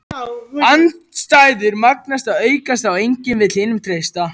Andstæður magnast og aukast þá enginn vill hinum treysta.